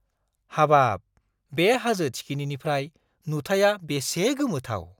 हाबाब! बे हाजो थिखिनिनिफ्राय नुथाइया बेसे गोमोथाव!